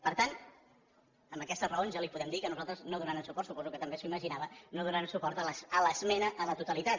per tant amb aquestes raons ja li podem dir que nosaltres no donarem suport suposo que també s’ho imaginava a l’esmena a la totalitat